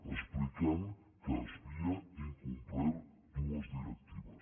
explicant que s’havien incomplert dues directives